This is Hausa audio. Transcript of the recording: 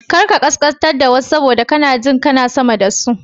Kar ka kaskantar da wasu saboda kana jin kana sama da su.